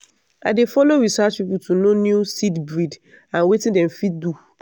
i dey follow research people to know new seed breed and wetin dem fit do.